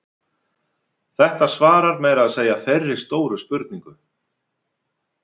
þetta svarar meira að segja þeirri stóru spurningu